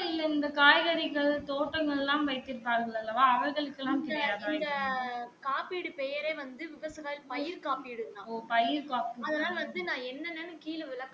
இந்த காய்கறிகள் தோட்டங்கள் எல்லாம் வைத்து இருப்பார்கள் அல்லவா அவர்களுக்கு எல்லாம் தெரியாத பயர் காப்பீட்டு தான்